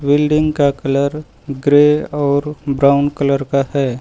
Building का colour grey और brown colour का है।